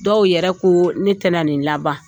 Dɔw yɛrɛ ko ne tɛ na nin laban.